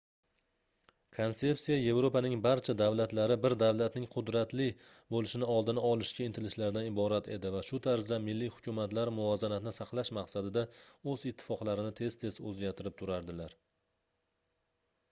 konsepsiya yevropaning barcha davlatlari bir davlatning qudratli boʻlishing oldini olishga intilishlaridan iborat edi va shu tarzda milliy hukumatlar muvozanatni saqlash maqsadida oʻz ittifoqlarini tez-tez oʻzgartirib turardilar